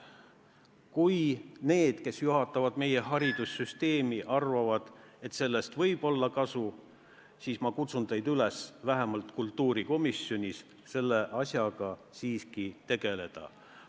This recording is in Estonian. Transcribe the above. Kui need, kes juhatavad meie haridussüsteemi, arvavad, et sellest võib olla kasu, siis ma kutsun teid üles vähemalt kultuurikomisjonis selle asjaga siiski tegelema.